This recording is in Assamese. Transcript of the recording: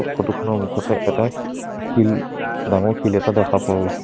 ফটো খনৰ মুখতে এটা শি শিল ডাঙৰ শিল এটা দেখা পোৱা গৈছে।